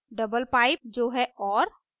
double pipe जो है or